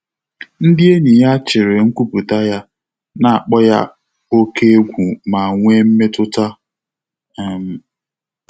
Ndị́ ényì yá chị́rị̀ nkwùpụ́tà yá, nà-ákpọ́ yá óké égwú mà nwèé mmétụ́tà. um